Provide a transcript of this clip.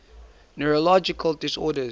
neurological disorders